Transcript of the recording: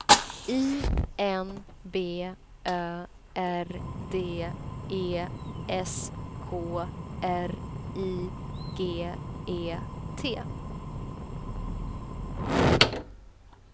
I N B Ö R D E S K R I G E T